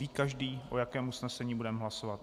Ví každý, o jakém usnesení budeme hlasovat?